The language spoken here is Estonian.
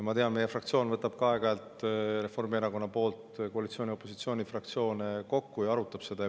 Ma tean, et meie, Reformierakonna fraktsioon võtab ka aeg-ajalt koalitsiooni ja opositsiooni fraktsioonid kokku ja arutab seda.